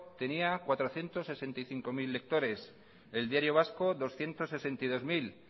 tenía cuatrocientos sesenta y cinco mil lectores el diario vasco doscientos sesenta y dos mil